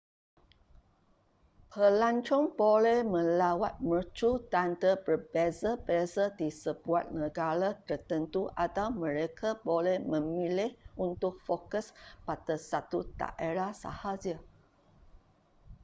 pelancong boleh melawat mercu tanda berbeza-beza di sebuah negara tertentu atau mereka boleh memilih untuk fokus pada satu daerah sahaja